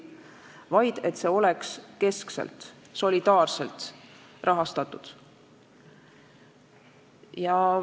See valdkond võiks olla keskselt, solidaarselt rahastatud.